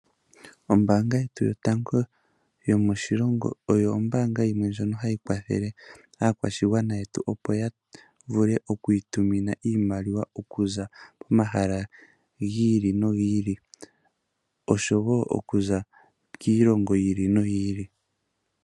Ombaanga yetu yotango yomoshilongo oyo ombaanga yimwe ndjono hayi kwathele aakwashigwana yetu, opo ya vule oku itumina iimaliwa okuza poma hala giili nogiili, osho wo okuza kiilongo yiili no yiili.